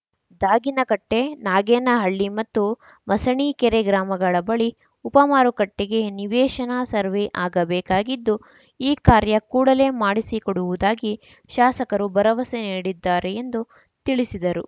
ದಾಗಿನಕಟ್ಟೆ ನಾಗೇನಹಳ್ಳಿ ಮತ್ತು ಮಸಣೀಕೆರೆ ಗ್ರಾಮಗಳ ಬಳಿ ಉಪ ಮಾರುಕಟ್ಟೆಗೆ ನಿವೇಶನ ಸರ್ವೇ ಆಗಬೇಕಾಗಿದ್ದು ಈ ಕಾರ್ಯ ಕೂಡಲೇ ಮಾಡಿಸಿಕೊಡುವುದಾಗಿ ಶಾಸಕರು ಭರವಸೆ ನೀಡಿದ್ದಾರೆ ಎಂದು ತಿಳಿಸಿದರು